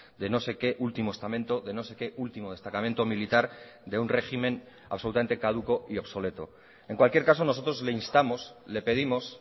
de no sé que último estamento de no sé que último destacamento militar de un régimen absolutamente caduco y obsoleto en cualquier caso nosotros le instamos le pedimos